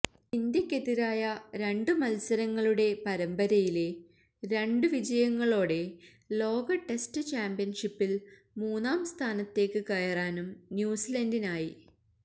ഇന്ത്യക്കെതിരായ രണ്ട് മത്സരങ്ങളുടെ പരമ്പരയിലെ രണ്ട് വിജയങ്ങളോടെ ലോക ടെസ്റ്റ് ചാമ്പ്യന്ഷിപ്പില് മൂന്നാം സ്ഥാനത്തേക്ക് കയറാനും ന്യൂസിലന്ഡിനായി